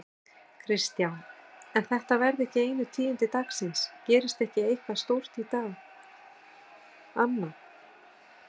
Kristján: En þetta verða ekki einu tíðindi dagsins, gerist ekki eitthvað stórt í dag annað?